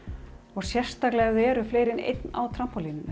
og sérstaklega ef það eru fleiri en einn á